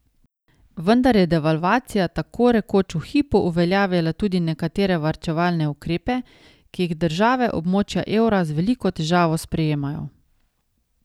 Vendar je devalvacija tako rekoč v hipu uveljavila tudi nekatere varčevalne ukrepe, ki jih države območja evra z veliko težavo sprejemajo.